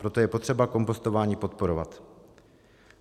Proto je potřeba kompostování podporovat.